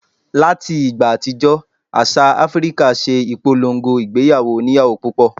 Láti ìgbà àtijọ́ àṣà Áfíríkà ṣe ìpolongo ìgbéyàwó oníyàwó púpọ̀